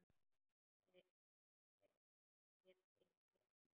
Þér segi ég allt.